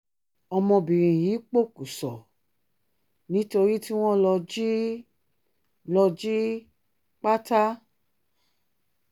ọmọbìnrin yìí pọ̀kùṣọ̀ nítorí tí wọ́n lọ jí lọ jí pátá